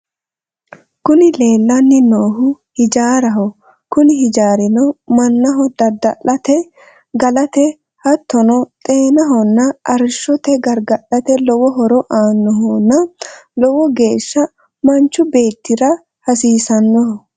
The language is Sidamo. Kuni leellanni noohu ijaaraho kuni ijaarino mannaho dadda'late galate hattono xeenahonna arrishshoho gargarate lowo horo aannohonna lowo geeshsha manchu beettira hasiisannoho.